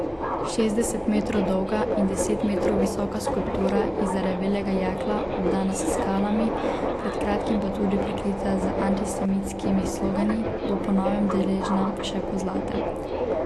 Šestdeset metrov dolga in deset metrov visoka skulptura iz zarjavelega jekla, obdana s skalami, pred kratkim pa tudi prekrita z antisemitskimi slogani, bo po novem deležna še pozlate.